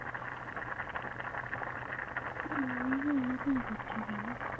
ওই বা ওরকম করছে কেন